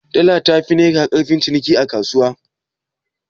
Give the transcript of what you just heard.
Dala tafi naira ƙarfin ciniki a kasuwa?